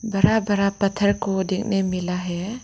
बड़ा बड़ा पत्थर को देखने मिला है।